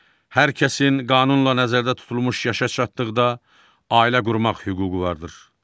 Hər kəsin qanunla nəzərdə tutulmuş yaşa çatdıqda ailə qurmaq hüququ vardır.